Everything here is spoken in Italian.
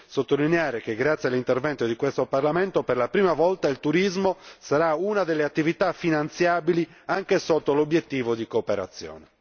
sottolineare che, grazie all'intervento di questo Parlamento, per la prima volta il turismo sarà una delle attività finanziabili anche sotto l'obiettivo di cooperazione.